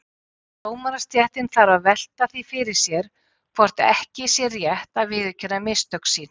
Dómarastéttin þarf að velta því fyrir sér hvort ekki sé rétt að viðurkenna mistök sín.